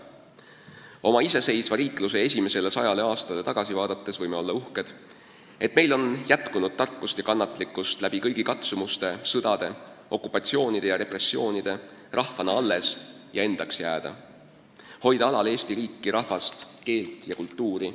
Oma iseseisva riikluse esimesele sajale aastale tagasi vaadates võime olla uhked, et meil on jätkunud tarkust ja kannatlikkust läbi kõigi katsumuste, sõdade, okupatsioonide ja repressioonide rahvana alles ja endaks jääda, hoida alal Eesti riiki, rahvast, keelt ja kultuuri.